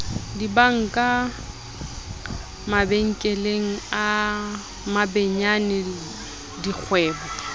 dibanka mabenkele a mabenyane dikgwebo